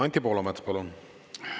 Anti Poolamets, palun!